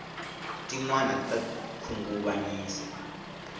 tinwani ta khunguvanyisa